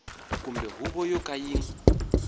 kumbe huvo yo ka yi